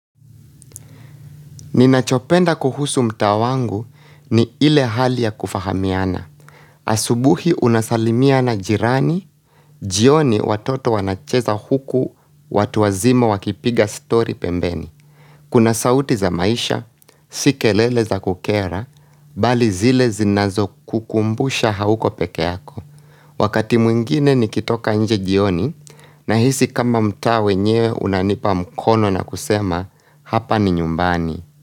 Ninachopenda kuhusu mta wangu ni ile hali ya kufahamiana. Asubuhi unasalimia na jirani, jioni watoto wanacheza huku watu wazima wakipiga stori pembeni. Kuna sauti za maisha, si kelele za kukera, bali zile zinazokukumbusha hauko pekee yako. Wakati mwingine nikitoka nje jioni nahisi kama mtaa wenyewe unanipa mkono na kusema hapa ni nyumbani.